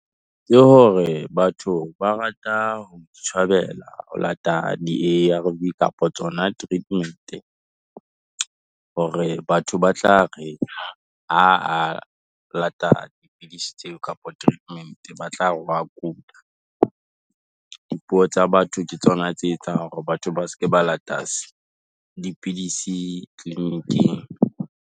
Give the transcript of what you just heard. Ke hore, batho ba rata ho itshwabela ho lata Di-A_R_V kapa tsona di treatment, hore batho ba tla re o lata dipidisi tseo kapa treatment ba tla re wa kula. Dipuo tsa batho ke tsona tse etsang hore batho ba seke ba lata dipidisi clinic-ing.